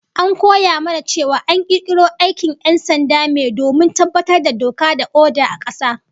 An koya mana cewa an kirkiro aikin 'yan sanda me domin tabbatar da doka da oda a kasa